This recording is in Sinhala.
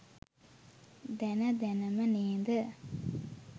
දැන දැනම ‌නේද?